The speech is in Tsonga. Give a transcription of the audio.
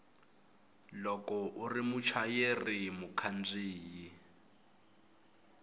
loko u ri muchayeri mukhandziyi